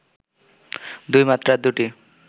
২ মাত্রার দুটি